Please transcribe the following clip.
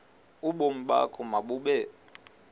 ubomi bakho mabube